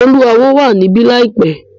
Oluawo wà níbí láìpẹ́.